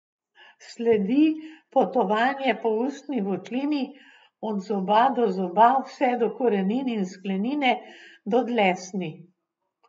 Sledi potovanje po ustni votlini, od zoba do zoba, vse do korenin in sklenine, do dlesni...